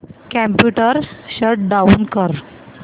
computer shut down कर